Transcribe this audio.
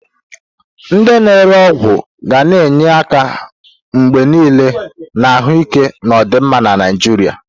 Ndị na-ere ọgwụ ga na-enye aka mgbe niile na ahụike na ọdịmma na Naijiria.